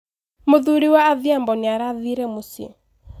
Mũthuri wa Adhiambo nĩ arathire mũcĩĩ.